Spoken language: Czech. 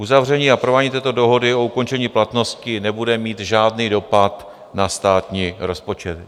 Uzavření a provádění této dohody o ukončení platnosti nebude mít žádný dopad na státní rozpočet.